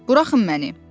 Bıraxmayın məni.